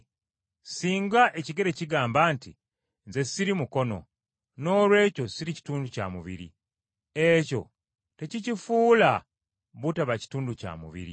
Singa ekigere kigamba nti, “Nze siri mukono, noolwekyo siri kitundu kya mubiri,” ekyo tekikifuula butaba kitundu kya mubiri.